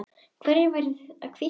Hvernig væri að hvítta þær?